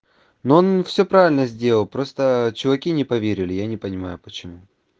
ну он всё правильно сделал просто чуваки не поверили я не понимаю почему